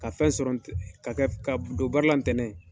Ka fɛn sɔrɔ ka kɛ ka don baara la ntɛnɛn.